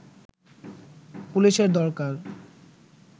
পুলিশের দরকার